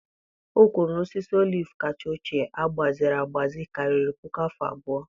O kwuru na osisi oliv kacha ochie agbaziri agbaziri karịrị puku afọ abụọ